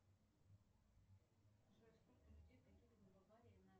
джой сколько людей погибло в аварии на